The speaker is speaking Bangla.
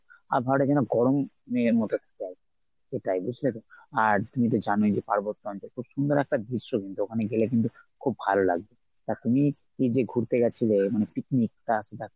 আর ধর এখানে গরম নেই ওটাই বুঝলে তো? আর তুমি তো জানোই যে পার্বত্য অঞ্চল খুব সুন্দর একটা দৃশ্য কিন্তু ওখানে গেলে কিন্তু খুব ভালো লাগবে। তা তুমি এই যে ঘুরতে গেছিলে মানে picnic তা সেটা